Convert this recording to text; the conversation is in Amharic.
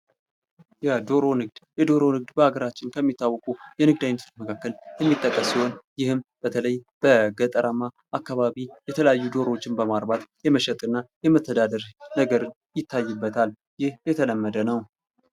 የዶሮ ንግድ የዶሮ ንግድ በሀገራችን ከሚታወቁ የንግድ አይነቶች መካከል የሚጠቀስ ሲሆን ይህም በተለይ በገጠራማ አካባቢ የተለያዩ ዶሮዎችን በማርባት የመሸጥ እና የመተደዳደር ነገር ይታይበታል ይህ የተለመደ ነው::